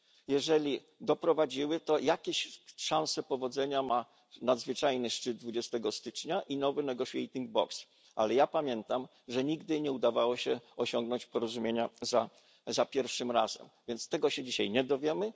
Jeżeli doprowadziły, to jakieś szanse powodzenia ma nadzwyczajny szczyt 20 lutego i nowy negotiating box, ale ja pamiętam, że nigdy nie udawało się osiągnąć porozumienia za pierwszym razem, więc tego się dzisiaj nie dowiemy.